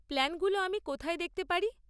প্ল্যানগুলো আমি কোথায় দেখতে পারি?